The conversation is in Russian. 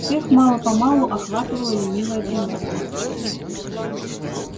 всех мало-помалу охватывала ленивая дремота